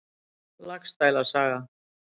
Laxdæla saga.